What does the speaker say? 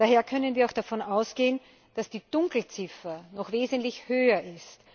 Daher können wir auch davon ausgehen, dass die Dunkelziffer noch wesentlich höher ist.